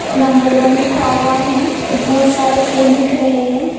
Number one लिखा हुआ है और बहुत सारे फूल दिख रहे हैं।